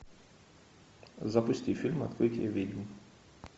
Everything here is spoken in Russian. запусти фильм открытие ведьм